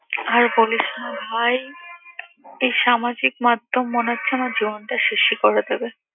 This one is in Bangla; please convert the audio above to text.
আর বলিস না ভাই এই সামাজিক মাধ্যম মনে হচ্ছে আমার জীবনটা শেষই করে দেবে।